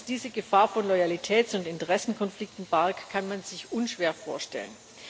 Dass dies die Gefahr von Loyalitäts und Interessenkonflikten barg, kann man sich unschwer vorstellen.